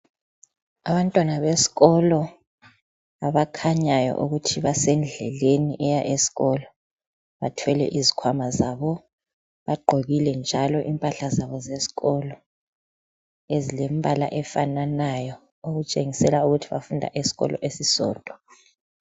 Abantwana besikolo abakhanyayo ukuthi basendleleni eya eskolo bathwele izikhwama zabo bagqokile njalo impahla zabo zesikolo ezilembala efananayo okutshengisa ukuthi bafunda esikolo esisodwa.